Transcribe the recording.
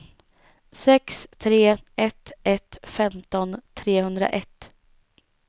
sex tre ett ett femton trehundraett